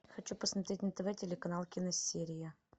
хочу посмотреть на тв телеканал киносерия